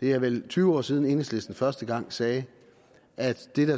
det er vel tyve år siden at enhedslisten første gang sagde at det der